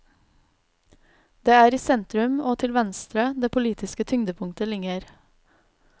Det er i sentrum og til venstre det politiske tyngdepunkt ligger.